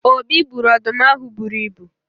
obi gburu ọdụm ahụ buru ibu